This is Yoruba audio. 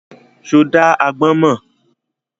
Ṣo dá agbọ́n mọ́?